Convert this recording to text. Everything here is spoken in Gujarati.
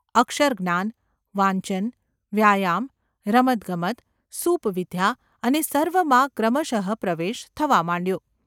અક્ષરજ્ઞાન, વાંચન, વ્યાયામ, રમતગમત, સૂપવિદ્યા એ સર્વમાં ક્રમશ:પ્રવેશ થવા માંડ્યો.